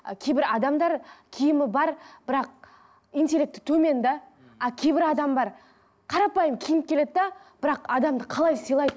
ы кейбір адамдар киімі бар бірақ интелекті төмен де а кейбір адам бар қарапайым киініп келеді де бірақ адамды қалай сыйлайды